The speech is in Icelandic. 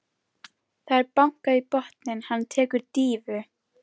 Það er bankað í botninn, hann tekur dýfu.